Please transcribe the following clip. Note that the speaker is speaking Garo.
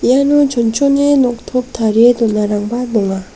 iano chonchone noktop tarie donarangna donga.